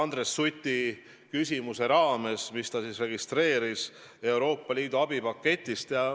Andres Suti küsimuse teema oli Euroopa Liidu abipakett.